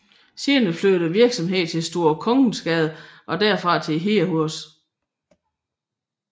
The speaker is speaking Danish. Senere flyttede virksomheden til Store Kongensgade og derfra til Hedehusene